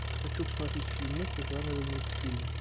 хочу посмотреть фильмуху жанра мультфильм